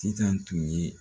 Titan tun ye